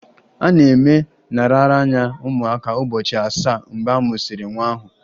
A na-eme nraranye ụmụaka ụbọchị asaa mgbe a mụsịrị nwa ahụ